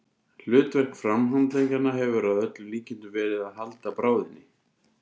Hlutverk framhandleggjanna hefur að öllum líkindum verið að halda bráðinni.